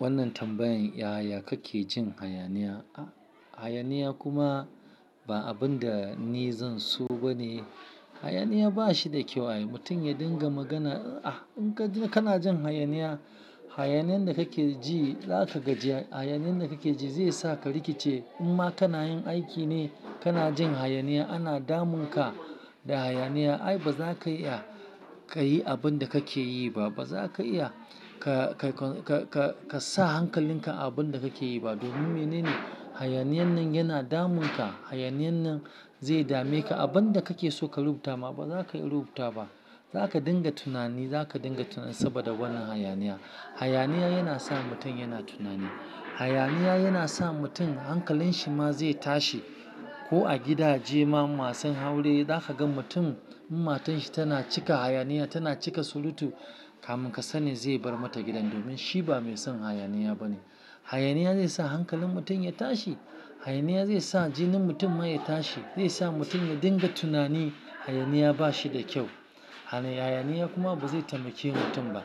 Wannan tambayan yaya kake jin hayaniya? Hayaniya kuma ba abin da ni zan so ba ne. Hayaniya ba shi da kyau. Mutum ya dinga magana, ah in kana jin hayaniya, hayaniyan da kake ji, za ka gaji. Hayaniyan da kake ji zai sa ka rikice. In ma kana yin aiki ne, kana jin hayaniya, ana damunka da hayaniya. Ai ba za ka iya ka yi abin da kake yi ba. Ba za ka iya ka, ka, ka, ka, ka sa hankalinka a abin da kake yi ba. Domin menene? Hayaniyan nan yana damuna. Hayaniyan nan zai dame ka. Abin da kake so ka rubuta ma ba za ka iya rubuta ba. Za ka dinga tunani. Za ka dinga tunani saboda wannan hayaniya. Hayaniya yana sa mutum yana tunani. Hayaniya yana sa mutum hankalin shi ma zai tashi. Ko a gidaje ma masu aure za ka gan mutum in matan shi tana cika hayaniya, tana cika surutu, kamun ka sani zai bar mata gidan domin shi ba mai son hayaniya ba ne. Hayaniya zai sa hankalin mutum ya tashi. Hayaniya zai sa jinin mutum ma ya tashi. Zai sa mutum ya dinga tunani. Hayaniya ba shi da kyau. Hayaniya kuma ba zai taimake mutum ba.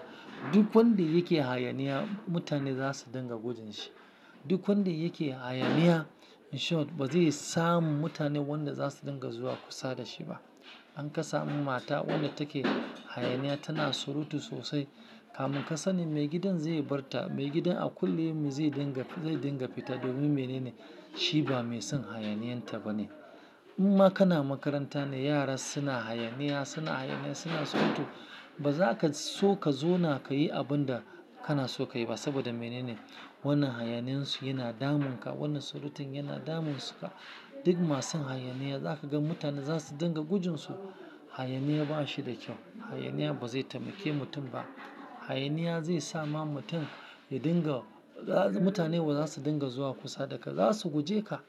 Duk wanda yake hayaniya, mutane za su dinga gudun shi. Duk wanda yake hayaniya in short ba zai samu mutane wanda za su dinga zuwa kusa da shi ba. An ka sami mata wadda take hayaniya, tana surutu sosai. Kamun ka sani maigidan zai bar ta. Maigidan a kullum zai dinga, zai dinga fita domin menene? Shi ba mai son hayaniyan ta ba ne. In ma kana makaranta ne, yara suna hayaniya, suna hayaniya, suna surutu. Ba za ka so ka zauna ka yi abun da kana so ka yi ba. Saboda menene? Wannan hayaniyan su yana damunka. Wannan surutun yana damun su ka. Duk masu hayaniya za ka gan mutane za su dinga gujin su. Hayaniya ba shi da kyau. Hayaniya ba zai taimake mutum ba. Hayaniya zai sa ma mutum ya dinga-- mutane ba za su dinga zuwa kusa da ka. Za su guje ka.